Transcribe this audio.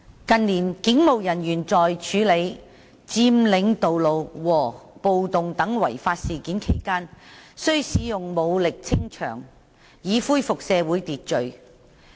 近年，警務人員在處理佔領道路和暴動等違法事件期間需使用武力清場，以恢復社會秩序。